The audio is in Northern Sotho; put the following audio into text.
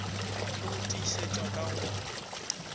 le go tiišetšwa ka go